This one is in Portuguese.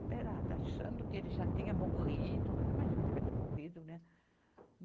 Esperada, achando que ele já tinha morrido, mas imagina, tivesse morrido, né?